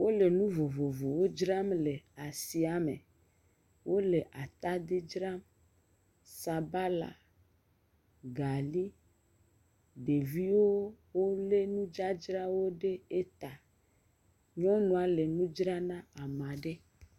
Wole nu vovovowo dzra le asi me. wole atadi dzram, sabala, galii. Ɖeviwo wolé nudzazra ɖe eta. Nyɔnua le nu dzram na amaa ɖe.